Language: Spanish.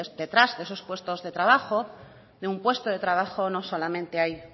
detrás de esos puestos de trabajo de un puesto de trabajo no solamente hay